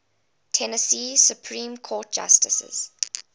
tennessee supreme court justices